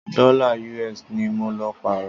Dọ́là US ní mọ lọ pààrọ́.